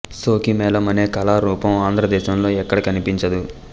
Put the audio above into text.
సోఖి మేళం అనే కళా రూపం ఆంధ్ర దేశంలో ఎక్కడా కనిపించదు